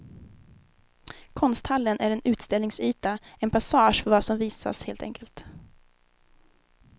Konsthallen är en utställningsyta, en passage för vad som visas helt enkelt.